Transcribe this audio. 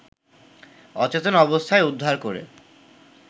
অচেতন অবস্থায় উদ্ধার করে